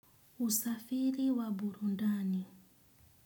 Usafiri wa burudani.